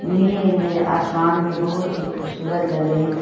नीले नीले आसमान में बहुत ही खूबसूरत लग रहे है।